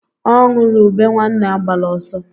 Ọ nụrụ ube nwanne agbala ọsọ